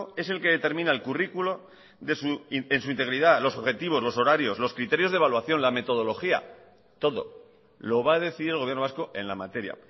es el que determina el currículo en su integridad los objetivos los horarios los criterios de evaluación la metodología todo lo va a decidir el gobierno vasco en la materia